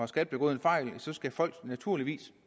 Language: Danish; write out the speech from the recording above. skat begået en fejl skal folk naturligvis